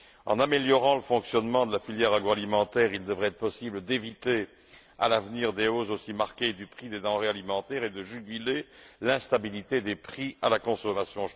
En améliorant le fonctionnement de la filière agroalimentaire, il devrait être possible d'éviter à l'avenir des hausses aussi marquées du prix des denrées alimentaires et de juguler l'instabilité des prix à la consommation.